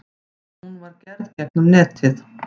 Hún var gerð gegnum netið.